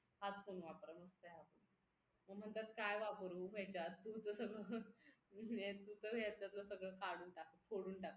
हाच फोन वापरा मग काय आता मग म्हणतात काय वापरू ह्याच्यात तू तर सगळं ह्याच्यातलं सगळं काढून टाकलं फोडून टाकलं